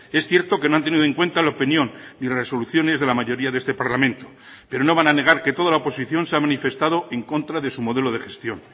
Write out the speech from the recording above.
es cierto que no han tenido en cuenta la opinión y resoluciones de la mayoría de este parlamento pero no van a negar que toda la oposición se ha manifestado en contra de su modelo de gestión